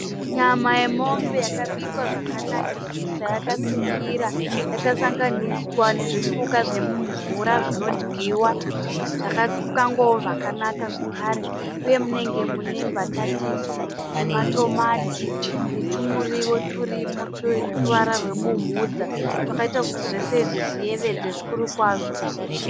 Nyama yemombe yakabikwa zvakanakisisa yakatsvukira yakasanganiswa nezvipuka zvemumvura zvinodyiwa zvakakangwao zvakanaka zvakare uye munenge mune mbatatisi nematomati netumurio turimo twe ruwara rwe bumhudza twakaita kuti zvose izvi zviyevedze zvikuru kwazvo.